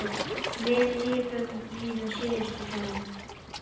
Við lifum hina síðustu daga.